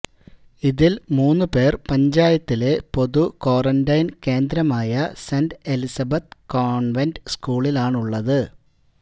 ഇതില് മൂന്ന് പേര് പഞ്ചായത്തിലെ പൊതു ക്വാറന്റൈന് കേന്ദ്രമായ സെന്റ് എലിസബത്ത് കോണ്വെന്റ് സ്കൂളിലാണുള്ളത്